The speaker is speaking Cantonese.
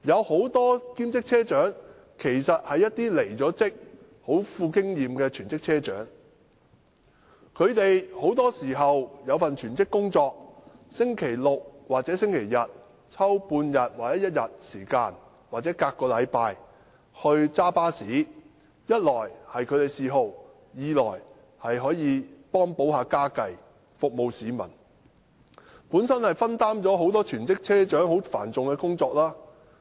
很多兼職車長其實是極具經驗的離職全職車長，本身也有全職工作，在星期六或星期日抽出1天或半天，或每隔1個星期駕駛巴士，一方面這是他們的嗜好，另一方面可幫補家計和服務市民，亦分擔了全職車長繁重的工作。